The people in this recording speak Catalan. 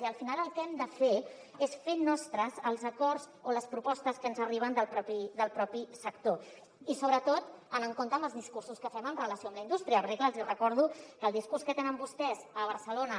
i al final el que hem de fer és fer nostres els acords o les propostes que ens arriben del propi sector i sobretot anar amb compte amb els discursos que fem en relació amb la indústria perquè clar els hi recordo que el discurs que tenen vostès a barcelona